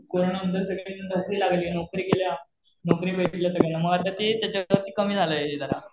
Corona गेल्यानंतर सगळ्यांना नोकरी लागली. नोकरी केल्या. मग आता ते त्याच्यात कमी झालंय जरा.